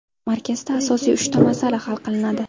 Markazda asosiy uchta masala hal qilinadi.